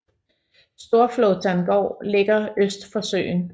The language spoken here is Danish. Storflåtan gård ligger øst for søen